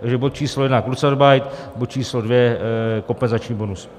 Takže bod číslo jedna kurzarbeit, bod číslo dvě kompenzační bonus.